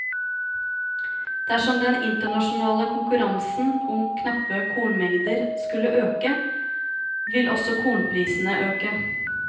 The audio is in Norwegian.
Dersom den internasjonale konkurransen om knappe kornmengder skulle øke, vil også kornprisene øke.